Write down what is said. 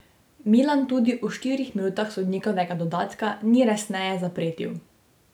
Milan tudi v štirih minutah sodnikovega dodatka ni resneje zapretil.